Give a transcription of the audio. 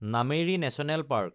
Nameri national park